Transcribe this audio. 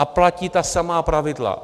A platí ta samá pravidla.